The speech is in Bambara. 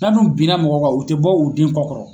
N'a dun binna mɔgɔ kan u tɛ bɔ'u den kɔ kɔrɔ.